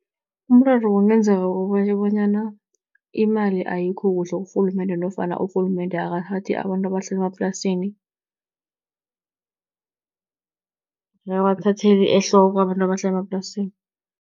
Umraro kungenzeka bonyana imali ayikho kuhle kurhulumende, nofana urhulumende akathathi abantu abahlala emaplasini, akabathatheli ehloko abantu abahlala emaplasini.